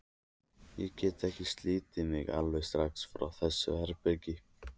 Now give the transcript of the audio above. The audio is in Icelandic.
Ég gat ekki slitið mig alveg strax frá þessu herbergi.